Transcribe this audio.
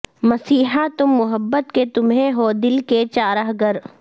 مسیحا تم محبت کے تمہیں ہو دل کے چارہ گر